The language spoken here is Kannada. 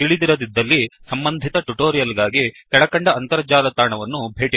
ತಿಳಿದಿರದಿದ್ದಲ್ಲಿ ಸಂಬಂಧಿತ ಟ್ಯುಟೋರಿಯಲ್ ಗಾಗಿ ಕೆಳಕಂಡ ಅಂತರ್ಜಾಲ ತಾಣವನ್ನು ಭೇಟಿಕೊಡಿ